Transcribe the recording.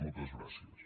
moltes gràcies